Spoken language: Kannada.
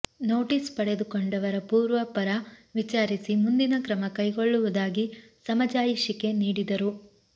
ನೊಟೀಸ್ ಪಡೆದುಕೊಂಡವರ ಪೂರ್ವಪರ ವಿಚಾರಿಸಿ ಮುಂದಿನ ಕ್ರಮ ಕೈಗೊಳ್ಳುವುದಾಗಿ ಸಮಜಾಯಿಷಿಕೆ ನೀಡಿದರು